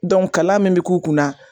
Dɔn kalan min be k'u kunna